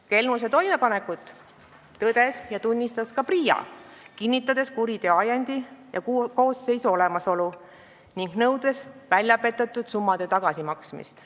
Kelmuse toimepanekut tõdes ja tunnistas ka PRIA, kinnitades kuriteo ajendi ja koosseisu olemasolu ning nõudes väljapetetud summade tagasimaksmist.